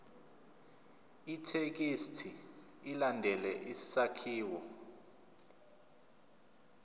ithekisthi ilandele isakhiwo